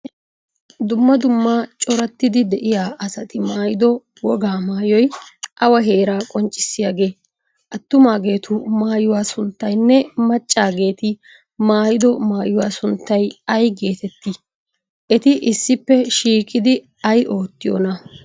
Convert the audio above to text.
Dumma dumma corattidi de'iya asati maayido wogaa maayoy awa heeraa qoccissiyaagee? Attumaageetu maayuwa sunttaynne maccaaeti maayido maayuwa sunttay ay geeteettii? Eti issppe shiiqidi ay oottiyoonaa?